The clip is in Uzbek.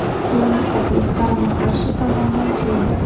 Keyingi taklif qarama-qarshi tomondan keldi.